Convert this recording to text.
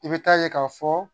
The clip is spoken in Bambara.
I bɛ taa ye ka fɔ